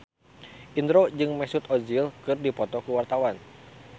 Indro jeung Mesut Ozil keur dipoto ku wartawan